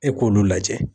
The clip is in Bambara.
E k'olu lajɛ